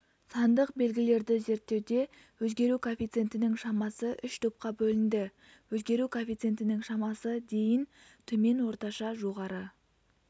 сандық белгілерді зерттеуде өзгеру коэффициентінің шамасы үш топқа бөлінді өзгеру коэффициентінің шамасы дейін төмен орташа жоғары